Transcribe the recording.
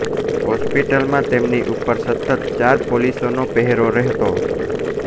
હોસ્પિટલમાં તેમની ઉપર સતત ચાર પોલીસનો પહેરો રહેતો